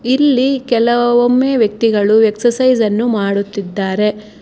ಇಲ್ಲಿ ಕೆಲವೊಮ್ಮೆ ವ್ಯಕ್ತಿಗಳು ಎಕ್ಸರ್ಸೈಜ್ ಅನ್ನು ಮಾಡುತ್ತಿದ್ದಾರೆ.